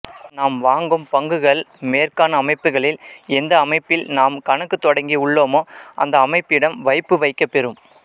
நாம் வாங்கும் பங்குகள் மேற்காண் அமைப்புக்களில் எந்த அமைப்பில் நாம் கணக்குத் தொடங்கி உள்ளோமோ அந்த அமைப்பிடம் வைப்பு வைக்கப்பெறும்